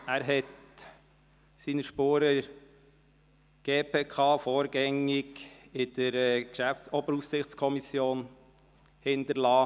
Er hinterliess seine Spuren in der GPK und vorgängig in der Oberaufsichtskommission (OAK).